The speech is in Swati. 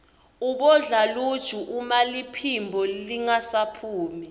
ubodla luju uma liphimbo lingasaphumi